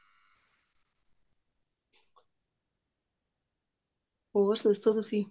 ਹੋਰ ਦੱਸੋ ਤੁਸੀਂ